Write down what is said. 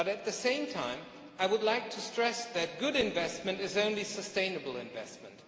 But at the same time, I would like to stress that good investment is only sustainable investment.